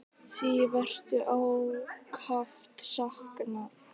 Þín verður ákaft saknað.